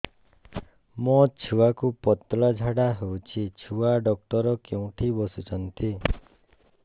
ମୋ ଛୁଆକୁ ପତଳା ଝାଡ଼ା ହେଉଛି ଛୁଆ ଡକ୍ଟର କେଉଁଠି ବସୁଛନ୍ତି